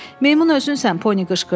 Meymun özünsən, Pony qışqırdı.